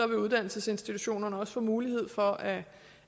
vil uddannelsesinstitutionerne også få mulighed for at